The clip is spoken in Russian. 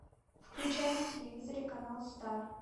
включай на телевизоре канал стар